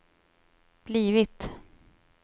blivit